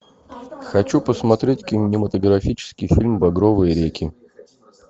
хочу посмотреть кинематографический фильм багровые реки